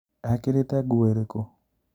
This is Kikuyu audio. Ekĩrĩte nguo ĩrĩkũ?